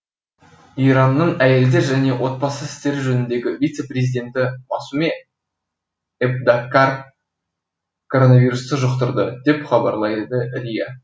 иранның әйелдер және отбасы істері жөніндегі вице президенті масуме эбтеккар коронавирусты жұқтырды деп хабарлайды риа